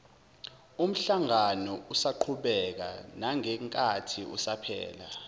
umhlanganousaqhubeka nangenkathi usuphela